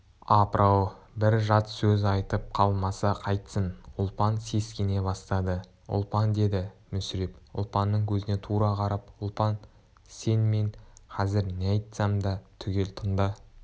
апыр-ау бір жат сөз айтып қалмаса қайтсын ұлпан сескене бастады ұлпан деді мүсіреп ұлпанның көзіне тура қарап ұлпан сен мен қазір не айтсам да түгел тыңда